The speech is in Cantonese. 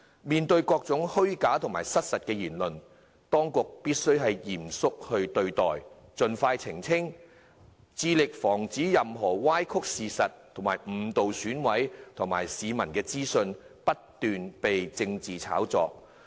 面對各種虛假、失實的言論，當局必須嚴肅對待，盡快澄清，致力防止任何歪曲事實、誤導選委及市民的資訊被不斷炒作。